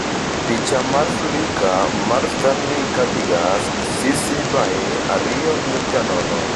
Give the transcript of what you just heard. Picha mar Flickr mar Stanley Cabigas (CC BY 2.0)